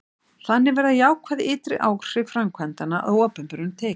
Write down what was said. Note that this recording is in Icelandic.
þannig verða jákvæð ytri áhrif framkvæmdanna að opinberum tekjum